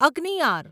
અગ્નિયાર